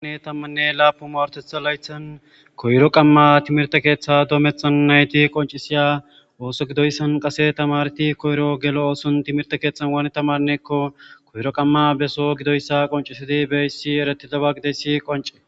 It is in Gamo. Namuu sha7ane lapun marotetha layithani koyiro qama timirite ketha dometha nayiti qoncisiya osso gidoyisani qasse tamaareti kiyiro gelo osso kethani wanni tamaraneko kiyiro qama besso gidoyisi qonce.